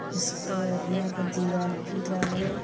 इसके यहाँ का दीवाल पीला है।